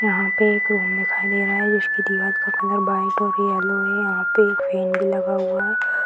यहाँ पर एक रूम दिखाई दे रहा है जिसके दीवार का कलर व्हाइट और येलो है यहाँ पर एक फैन भी लगा हुआ है।